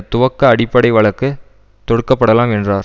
துவக்க அடிப்படை வழக்கு தொடுக்கப்படலாம் என்றார்